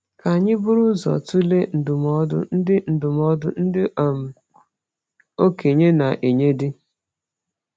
Ka anyị buru ụzọ tụlee ndụmọdụ ndị ndụmọdụ ndị um okenye na-enye di.